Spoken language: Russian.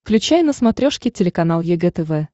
включай на смотрешке телеканал егэ тв